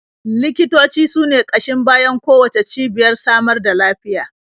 Likitoci su ne ƙashin bayan kowacce cibiyar samar da lafiya.